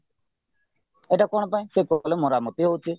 ଏଇଟା କଣ ପାଇଁ ସେ କହିଲେ ମରାମତି ହଉଛି